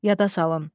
Yada salın.